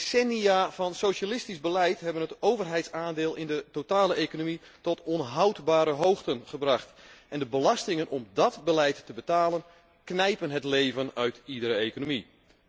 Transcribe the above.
Decennia van socialistisch beleid hebben het overheidsaandeel in de totale economie tot onhoudbare hoogten gebracht en de belastingen om dat beleid te betalen knijpen het leven uit iedere economie.